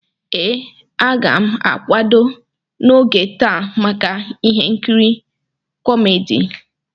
Ee, a ga m akwado n'oge taa maka ihe nkiri kómedy